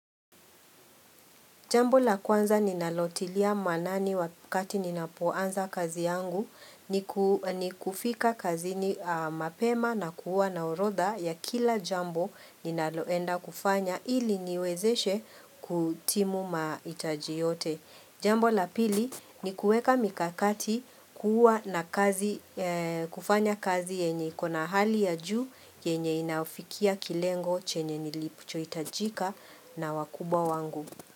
Jambo la kwanza ninalotilia maanani wakati ninapoanza kazi yangu ni kufika kazini mapema na kuwa na orodha ya kila jambo ninaloenda kufanya ili niwezeshe kutimu mahitaji yote. Jambo la pili ni kueka mikakati kufanya kazi yenye iko na hali ya juu yenye inafikia kilengo chenye nilichotajika na wakuba wangu.